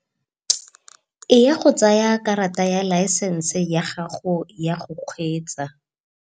Eya go tsaya karata ya laesense ya gago ya go kgweetsa